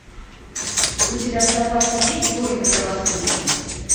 у тебя в запасе есть войны правосудия